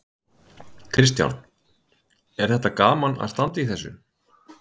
Kristján: Er þetta gaman að standa í þessu?